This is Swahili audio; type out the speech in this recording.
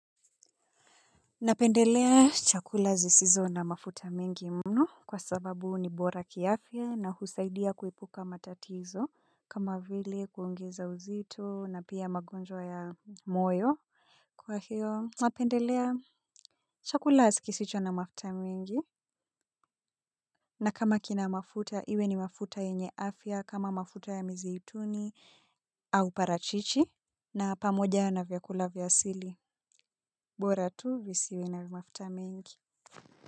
Napendelea chakula zisizo na mafuta mengi mno kwa sababu ni bora kiafya na husaidia kuepuka matatizo kama vile kuongeza uzito na pia magonjwa ya moyo. Kwa hiyo napendelea chakula kisicho na mafuta mingi na kama kina mafuta iwe ni mafuta yenye afya kama mafuta ya mizaituni au parachichi na pamoja na vyakula vya asili bora tu visiwe na mafuta mengi.